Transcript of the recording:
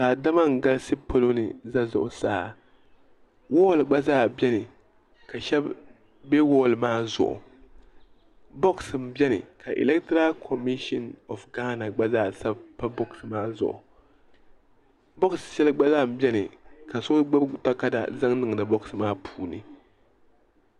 Daadama n galisi polo ni n za zuɣusaa wɔli gba zaa bɛni ka shɛba bɛ wɔli maa zuɣu bɔks n bɛni ka ilektiral komishin ɔf gaana gba zaa sabi pa bɔks maa zuɣu bɔks shɛli gba lan bɛni ka so gbubi takada zaŋ niŋdi bɔks maa puuni.